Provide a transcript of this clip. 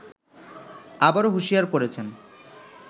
আবারো হুশিয়ার করেছেন